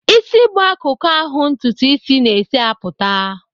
Ịsị bụ akụkụ ahụ ntụtụ isis na-esi apụta.